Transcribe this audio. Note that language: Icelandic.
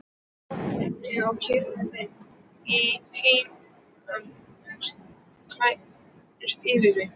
Lognið og kyrrðin í heimi legsteinanna færist yfir mig.